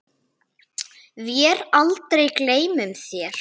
Vér aldrei gleymum þér.